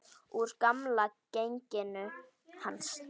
Úr gamla genginu hans.